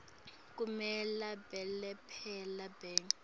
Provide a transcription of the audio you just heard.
kumele belaphe bantfu